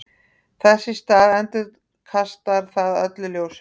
þess í stað endurkastar það öllu ljósinu